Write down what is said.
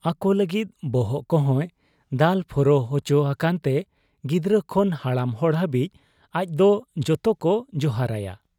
ᱟᱠᱚ ᱞᱟᱹᱜᱤᱫ ᱵᱚᱦᱚᱜ ᱠᱚᱦᱚᱸᱭ ᱫᱟᱞ ᱯᱷᱚᱨᱚ ᱚᱪᱚ ᱟᱠᱟᱱᱛᱮ ᱜᱤᱫᱽᱨᱟᱹ ᱠᱷᱚᱱ ᱦᱟᱲᱟᱢ ᱦᱚᱲ ᱦᱟᱹᱵᱤᱡ ᱟᱡᱫᱚ ᱡᱚᱛᱚᱠᱚ ᱡᱚᱦᱟᱨᱟᱭᱟ ᱾